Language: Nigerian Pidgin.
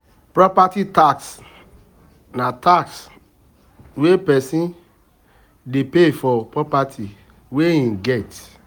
Property tax na tax wey person dey pay for property wey im get